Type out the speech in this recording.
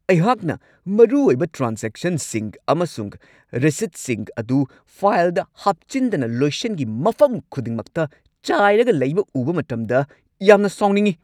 ꯑꯩꯍꯥꯛꯅ ꯃꯔꯨꯑꯣꯏꯕ ꯇ꯭ꯔꯥꯟꯖꯦꯛꯁꯟꯁꯤꯡ ꯑꯃꯁꯨꯡ ꯔꯁꯤꯠꯁꯤꯡ ꯑꯗꯨ ꯐꯥꯏꯜꯗ ꯍꯥꯞꯆꯤꯟꯗꯅ ꯂꯣꯏꯁꯪꯒꯤ ꯃꯐꯝ ꯈꯨꯗꯤꯡꯃꯛꯇ ꯆꯥꯏꯔꯒ ꯂꯩꯕ ꯎꯕ ꯃꯇꯝꯗ ꯌꯥꯝꯅ ꯁꯥꯎꯅꯤꯡꯉꯤ ꯫